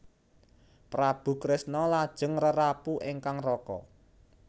Prabu Kresna lajeng ngrerapu ingkang raka